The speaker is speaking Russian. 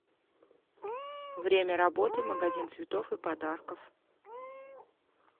время работы магазин цветов и подарков